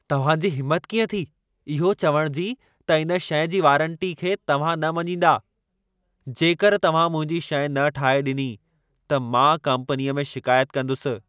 तव्हां जी हिमत कीअं थी इहो चवण जी त इन शइ जी वारंटीअ खे तव्हां न मञींदा। जेकर तव्हां मुंहिंजी शइ न ठाहे ॾिनी, त मां कम्पनीअ में शिकायत कंदुसि।